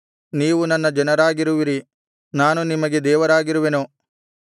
ನೀವು ನನ್ನ ಜನರಾಗಿರುವಿರಿ ನಾನು ನಿಮಗೆ ದೇವರಾಗಿರುವೆನು